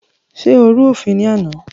Ṣé o rú òfin ní àná?